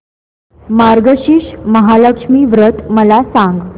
मार्गशीर्ष महालक्ष्मी व्रत मला सांग